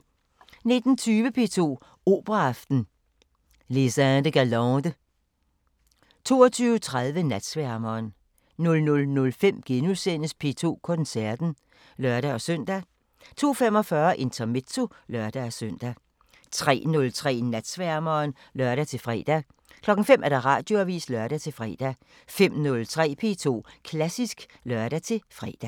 19:20: P2 Operaaften: Les Indes Galantes 22:30: Natsværmeren 00:05: P2 Koncerten *(lør-søn) 02:45: Intermezzo (lør-søn) 03:03: Natsværmeren (lør-fre) 05:00: Radioavisen (lør-fre) 05:03: P2 Klassisk (lør-fre)